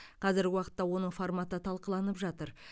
қазіргі уақытта оның форматы талқыланып жатыр